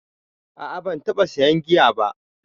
A a ban taɓa sayan giya ba